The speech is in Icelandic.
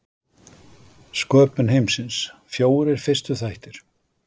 Sköpun heimsins, fjórir fyrstu þættir